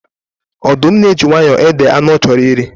Ọdụm na-eji nwayọọ ede anụ ọ chọrọ iri